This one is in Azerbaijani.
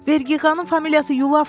Verqixanın familiyası Yulafovdur.